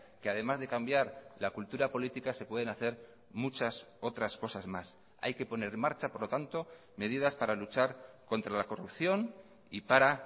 que además de cambiar la cultura política se pueden hacer muchas otras cosas más hay que poner en marcha por lo tanto medidas para luchar contra la corrupción y para